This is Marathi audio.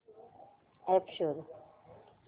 अॅप शोध